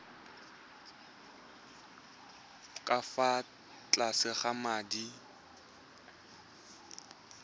ka fa tlase ga madi